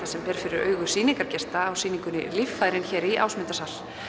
sem ber fyrir augu sýningargesta á sýningunni líffæri hér í Ásmundarsal